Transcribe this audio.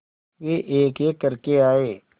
वे एकएक करके आए